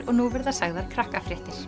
og nú verða sagðar krakkafréttir